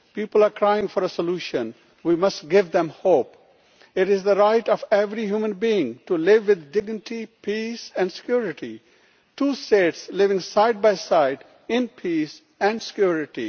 People are crying out for a solution we must give them hope. It is the right of every human being to live with dignity, peace and security two States living side by side in peace and security.